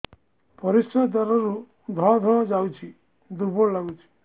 ପରିଶ୍ରା ଦ୍ୱାର ରୁ ଧଳା ଧଳା ଯାଉଚି ଦୁର୍ବଳ ଲାଗୁଚି